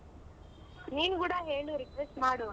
ನೀನ್ ಕೂಡ ಹೇಳು request ಮಾಡು.